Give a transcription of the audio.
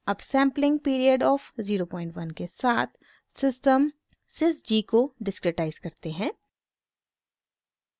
अब sampling period of 01 के साथ सिस्टम sys g को डिस्क्रिटाइज़ करते हैं